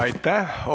Aitäh!